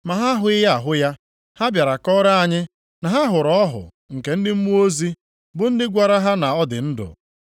Ma ha ahụghị ahụ ya. Ha bịara kọrọ anyị na ha hụrụ ọhụ nke ndị mmụọ ozi, bụ ndị gwara ha na ọ dị ndụ.